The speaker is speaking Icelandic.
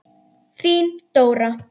Þín Dóra.